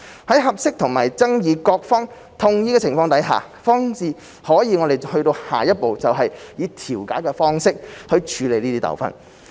在合適和爭議各方同意的情況下，方可進下一步以調解的方式處理糾紛。